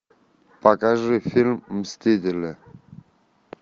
покажи фильм мстители